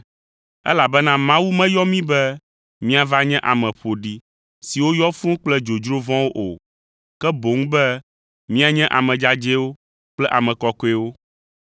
Elabena Mawu meyɔ mí be míava nye ame ƒoɖi siwo yɔ fũu kple dzodzro vɔ̃wo o, ke boŋ be míanye ame dzadzɛwo kple ame kɔkɔewo.